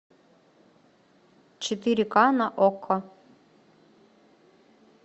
четыре к на окко